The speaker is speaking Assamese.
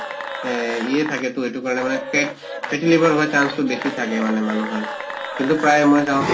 এহ ইয়ে থাকেতো, এইটো কাৰণে মানে fats fatty liver হোৱাৰ chance তো বেছি থাকে মানে মানুহৰ। কিন্তু প্ৰায়ে মই চাওঁ